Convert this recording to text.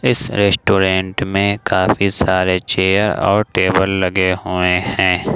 इस रेस्टोरेंट में काफी सारे चेयर और टेबल लगे हुए हैं।